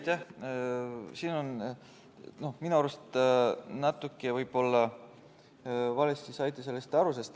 Te saite minu arust võib-olla natuke valesti aru.